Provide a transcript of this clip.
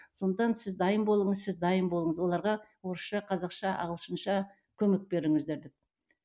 сондықтан сіз дайын болыңыз сіз дайын болыңыз оларға орысша қазақша ағылшынша көмек беріңіздер деп